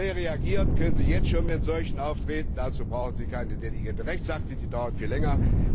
Schnell reagieren können Sie jetzt schon mit solchem Auftreten, dazu brauchen Sie keine delegierten Rechtsakte, die dauern viel länger.